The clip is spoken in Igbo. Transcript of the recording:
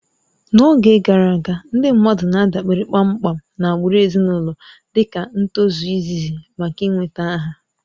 N'oge gara aga, ndị mmadụ na-adabere kpamkpam na agbụrụ ezinụlọ dịka ntozu izizi maka ị nweta aha